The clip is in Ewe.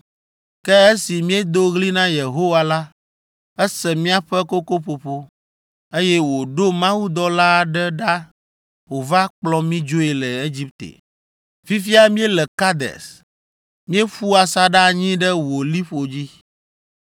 Ke esi míedo ɣli na Yehowa la, ese míaƒe kokoƒoƒo, eye wòɖo mawudɔla aɖe ɖa wòva kplɔ mí dzoe le Egipte. “Fifia míele Kades. Míeƒu asaɖa anyi ɖe wò liƒo dzi.